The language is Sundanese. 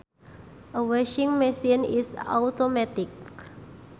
A washing machine is automatic